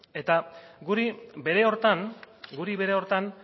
eta guri bere horretan guri bere horretan